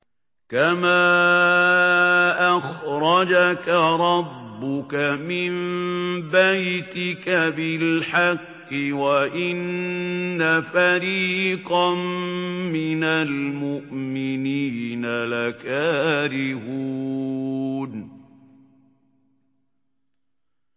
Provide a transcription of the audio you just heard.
كَمَا أَخْرَجَكَ رَبُّكَ مِن بَيْتِكَ بِالْحَقِّ وَإِنَّ فَرِيقًا مِّنَ الْمُؤْمِنِينَ لَكَارِهُونَ